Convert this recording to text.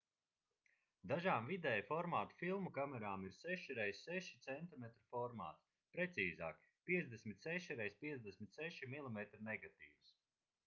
dažām vidēja formāta filmu kamerām ir 6 x6 cm formāts precīzāk 56 x 56 mm negatīvs